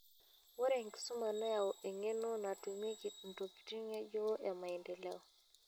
Ore enkisuma neyau eng'eno natumieki ntokitin ng'ejuko e maendeleo.